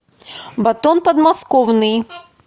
батон подмосковный